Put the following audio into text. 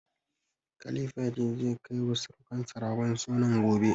Khalifa ya ce, zai kai wa sirukansa ragon sunan gobe.